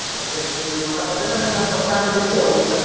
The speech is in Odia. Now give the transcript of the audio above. ଆଉ ଏବେଠୁ ଯଦି ମନା କରିଦେଲେ